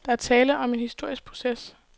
Der er tale om en historisk proces.